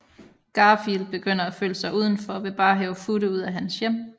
Garfield begynder at føle sig udenfor og vil bare have Futte ud af hans hjem